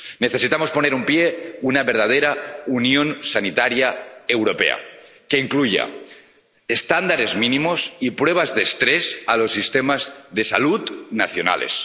Necesitamos poner en pie una verdadera unión sanitaria europea que incluya estándares mínimos y pruebas de estrés a los sistemas de salud nacionales